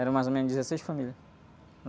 Eram mais ou menos dezesseis famílias.